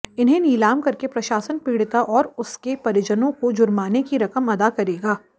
इन्हें नीलाम करके प्रशासन पीड़िता और उसके परिजनों को जुर्माने की रकम अदा करेगा